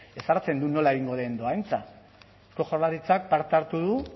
ezartzen du nola egingo den dohaintza jaurlaritzak parte hartu du